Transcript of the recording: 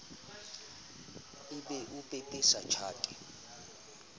e be o pepesa tjhate